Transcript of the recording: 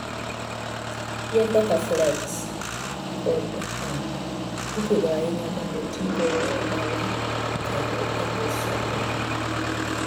Yien kaka flax kod hemp ipidho ahinya mondo otigo e ohala koda e loso lewni.